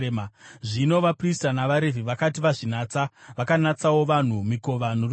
Zvino vaprista navaRevhi vakati vazvinatsa, vakanatsawo vanhu, mikova norusvingo.